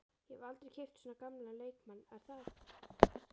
Ég hef aldrei keypt svona gamlan leikmann er það?